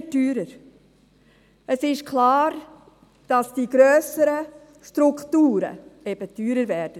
Es ist klar, dass die grösseren Strukturen eben teurer werden.